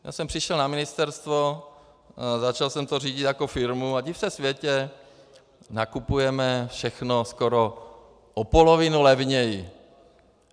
Já jsem přišel na ministerstvo, začal jsem to řídit jako firmu, a div se světe, nakupujeme všechno skoro o polovinu levněji.